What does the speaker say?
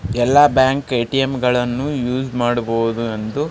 ಎಲ್ಲ bank ATM ಗಳನ್ನೂ use ಮಾಡಬಹುದು ಎಂದು --